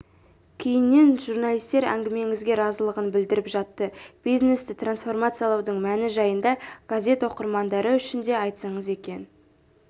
кейіннен журналистер әңгімеңізге разылығын білдіріп жатты бизнесті трансформациялаудың мәні жайында газет оқырмандары үшін де айтсаңыз екен